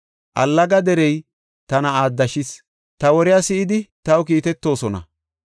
Allaga derey tana aaddashees; ta woriya si7idi taw kiitetoosona.